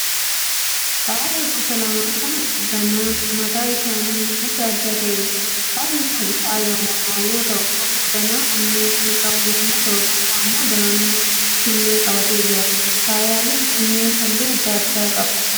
Faaya gosa lama kan danaan mataa isaanii adda adda ta'eedha. Faayyi kun faaya mormaa yoo ta'u tokko danaa onnee kan qabu yemmuu ta'u tokko immoo danaa killee qabatee jira. Faayyaaleen kunneen halluu adda addaa qabu.